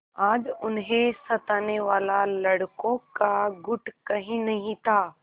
आज उन्हें सताने वाला लड़कों का गुट कहीं नहीं था